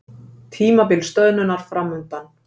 Tímabil stöðnunar framundan